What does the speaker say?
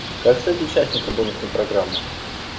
как стать участником бонусной программы